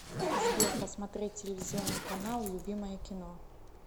сбер посмотреть телевизионный канал любимое кино